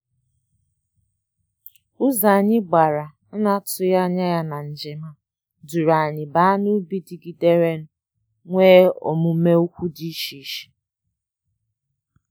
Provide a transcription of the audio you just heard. Ụzọ anyị gbàrà ana-atụghị ányá na njem duru anyị baa n'ubi digidere nwèrè omume ukwu dị iche iche.